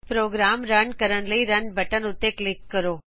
programme run ਕਰਨ ਲਈ run button ਉੱਤੇ ਕਲਿਕ ਕਰੋ